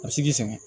A bɛ se k'i sɛgɛn